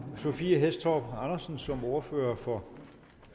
sophie hæstorp andersen som ordfører for